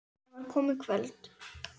Það var komið kvöld.